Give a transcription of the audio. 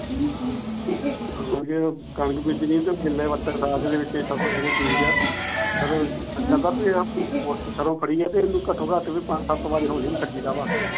ਜਦੋ ਕਣਕ ਬੀਜਣੀ ਸੀ ਤਾਂ ਗੀਲੇ ਵਿੱਚ ਹੀ ਸਮਾਨ ਸਮੁਨ ਬੀਜ ਗਿਆ ਫਿਰ ਸਰੋ ਫੜੀ ਆ ਤੇ ਇਹਨੂੰ ਘਟੋ ਘੱਟ ਵੀ ਪੰਜ ਸੱਤ ਬਾਰ ਹੌਲੀ ਛੱਡੀ ਦਾ ਵਾ।